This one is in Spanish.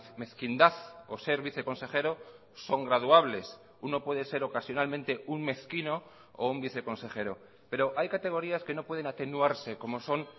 mezquindad o ser viceconsejero son graduables uno puede ser ocasionalmente un mezquino o un viceconsejero pero hay categorías que no pueden atenuarse como son